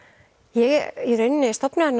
ég í rauninni stofnaði